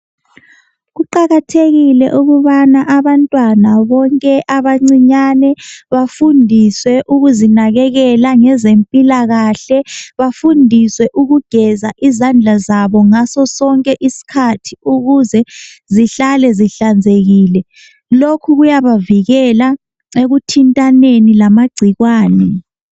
Kuqakathekile ukubana abantwana bonke abancinyane bafundiswe ukuzinakekela ngezempilakahle. Bafundiswe ukugeza izandla zabo ngaso sonke isikhathi ukuze zihlale zihlanzekile. Lokhu kuyabavikela ekuthintaneni lamagcikwane.